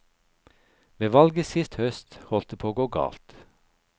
Ved valget sist høst holdt det på å gå galt.